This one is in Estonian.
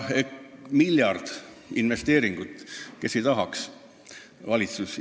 Miljard investeeringut – kes seda ei tahaks!?